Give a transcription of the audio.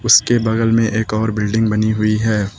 इसके बगल में एक और बिल्डिंग बनी हुई है।